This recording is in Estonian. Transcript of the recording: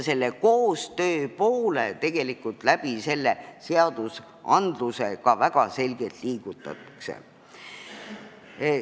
Selle koostöö poole tegelikult seadusmuudatuste abil ka väga selgelt liigutakse.